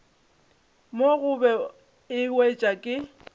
mo gobe e wetšwa ke